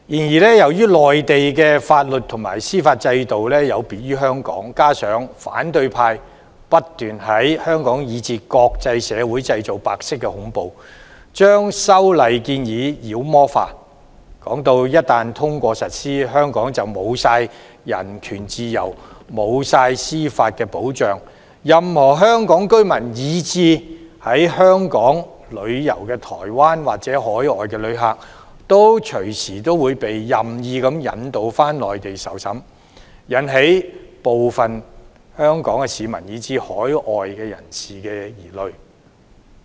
然而，由於內地的法律和司法制度有別於香港，加上反對派不斷在香港以至國際社會製造白色恐怖，將修例建議妖魔化，說一旦通過實施，香港便會失去人權自由、司法保障，任何香港居民，以至在香港旅遊的台灣或海外旅客隨時會被任意引渡到內地受審，引起部分香港市民，以至海外人士的疑慮。